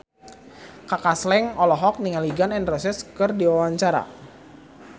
Kaka Slank olohok ningali Gun N Roses keur diwawancara